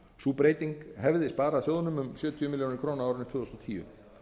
sú breyting hefði sparaði sjóðnum um sjötíu milljónir króna árið tvö þúsund og tíu